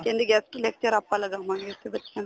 ਕਹਿੰਦੇ guest lecture ਆਪਾਂ ਲਗਾਵਾਗੇ ਇਸ ਵਾਰ ਬੱਚਿਆਂ ਦਾ